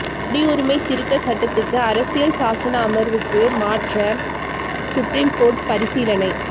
குடியுரிமை திருத்த சட்டத்துக்கு அரசியல் சாசன அமர்வுக்கு மாற்ற சுப்ரீம் கோர்ட்டு பரிசீலனை